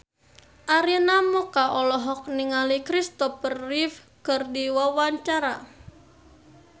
Arina Mocca olohok ningali Christopher Reeve keur diwawancara